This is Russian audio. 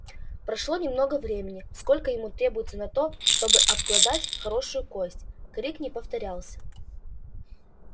прошло немного времени сколько ему требуется на то чтобы обглодать хорошую кость крик не повторялся